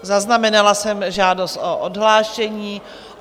Zaznamenala jsem žádost o odhlášení.